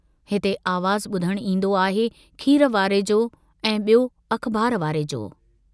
हिते आवाज़ बुधण ईन्दो आहे खीर वारे जो ऐं बयो अख़बार वारे जो।